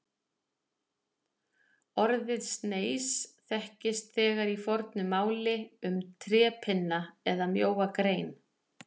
Orðið sneis þekkist þegar í fornu máli um trépinna eða mjóa grein.